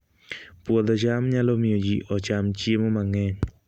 Puodho cham nyalo miyo ji ocham chiemo mang'eny